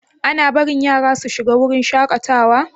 Ana barin yara su shiga wurin shakatawa?